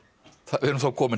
við erum þá komin